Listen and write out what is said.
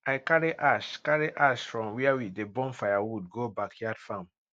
i carry ash carry ash from where we dey burn firewood go backyard farm